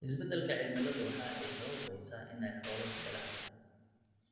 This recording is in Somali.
Isbeddelka cimiladu waxa ay sababaysaa in ay xoolo beelaan.